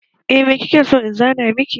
Eh me kike so in zana miki